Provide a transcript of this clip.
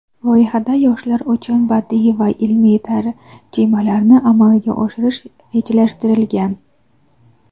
Loyihada yoshlar uchun badiiy va ilmiy tarjimalarni amalga oshirish rejalashtirilgan.